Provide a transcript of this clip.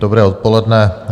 Dobré odpoledne.